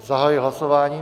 Zahajuji hlasování.